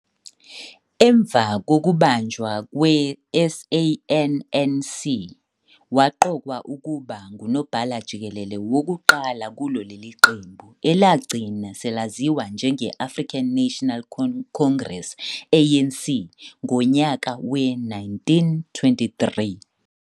Emva kokubunjwa kwe SANNC waqokwa ukuba nguNobhala Jikelele wokuqala kulo leli qembu, elagcina selaziwa njenge-African National Congress, ANC, ngonyaka we-1923.